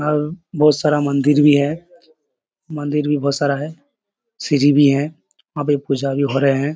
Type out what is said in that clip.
और बोहोत सारा मंदिर भी है। मंदिर भी बोहोत सारा है सीढ़ी भी हैं वहाँ पे पूजा भी हो रहे हैं।